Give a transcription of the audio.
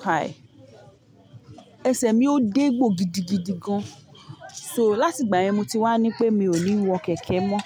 káì, ẹsẹ̀ mi ó dé gbò gidi gidi gan. So láti ìgbà yẹn mo ti wá ní pé mi ò ní wo kẹ̀kẹ́ mọ́.